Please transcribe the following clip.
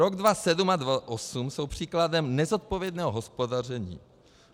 Rok 2007 a 2008 jsou příkladem nezodpovědného hospodaření.